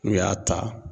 N'u y'a ta